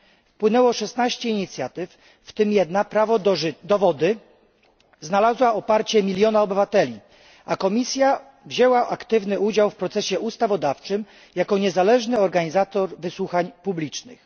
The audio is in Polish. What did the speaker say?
Wpłynęło 16 inicjatyw, w tym jedna prawo do wody znalazła poparcie miliona obywateli, a komisja wzięła aktywny udział w procesie ustawodawczym jako niezależny organizator wysłuchań publicznych.